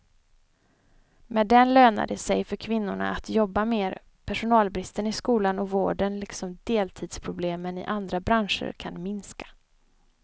Med den lönar det sig för kvinnorna att jobba mer, personalbristen i skolan och vården liksom deltidsproblemen i andra branscher kan minska.